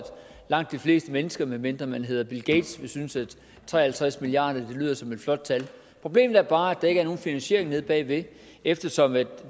langt de fleste mennesker medmindre man hedder bill gates vil synes at tre og halvtreds milliard lyder som et flot tal problemet er bare at der ikke er nogen finansiering bag ved eftersom